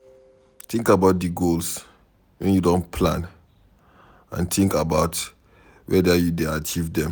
Think about di goals wey you don plan and think about weda you dey achieve dem